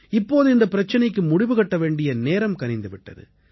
இப்போது இந்தப் பிரச்சனைக்கு முடிவு கட்ட வேண்டிய நேரம் கனிந்து விட்டது